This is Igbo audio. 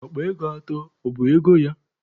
Akpa ego atọ, ọ bụ ego ya?